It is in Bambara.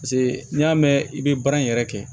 Paseke n'i y'a mɛn i bɛ baara in yɛrɛ kɛ